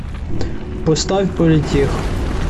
поставь политех